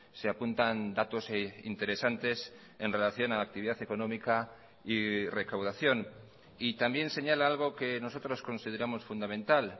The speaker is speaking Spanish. se apuntan datos interesantes en relación a la actividad económica y recaudación y también señala algo que nosotros consideramos fundamental